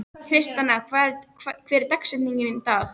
Tristana, hver er dagsetningin í dag?